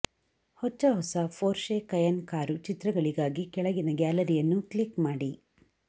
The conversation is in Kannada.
ಹೊಚ್ಚ ಹೊಸ ಫೋರ್ಷೆ ಕಯೆನ್ನ್ ಕಾರು ಚಿತ್ರಗಳಿಗಾಗಿ ಕೆಳಗಿನ ಗ್ಯಾಲರಿಯನ್ನು ಕ್ಲಿಕ್ ಮಾಡಿ